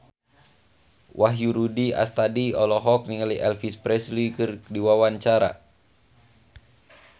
Wahyu Rudi Astadi olohok ningali Elvis Presley keur diwawancara